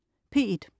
P1: